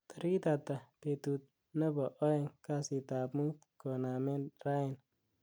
tarigit ata betut nebo oeng kasit ab muut konamen raini